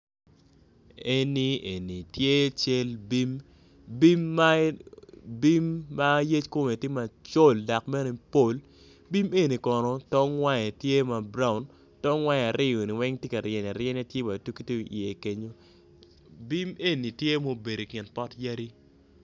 Eni tye cal bim bim ma yec kome tye ma col dok bene pol bim eni kono tong wange tye ma brown tong wange aryo ni weng tye ka ryeny aryenya tye wa i ye kenyo bim eni tye ma obedo i kin pot yadi.